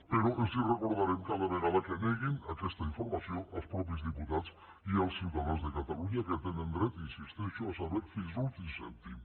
però els ho recordarem cada vegada que neguin aquesta informació als mateixos diputats i als ciutadans de catalunya que tenen dret hi insisteixo a saber fins l’últim cèntim